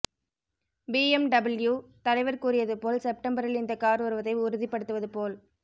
BMW தலைவர் கூறியதுபோல் செப்டம்பரில் இந்த கார் வருவதை உறுதிபடுத்துவது போல்